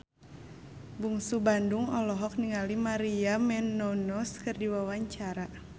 Bungsu Bandung olohok ningali Maria Menounos keur diwawancara